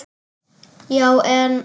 Já, en.